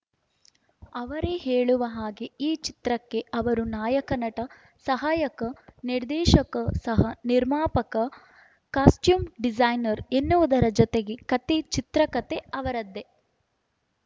ಅವರೇ ಹೇಳುವ ಹಾಗೆ ಈ ಚಿತ್ರಕ್ಕೆ ಅವರು ನಾಯಕ ನಟ ಸಹಾಯಕ ನಿರ್ದೇಶಕ ಸಹ ನಿರ್ಮಾಪಕ ಕಾಸ್ಟೂ್ಯಮ್‌ ಡಿಸೈನರ್‌ ಎನ್ನುವುದರ ಜತೆಗೆ ಕತೆ ಚಿತ್ರಕತೆ ಅವರದ್ದೇ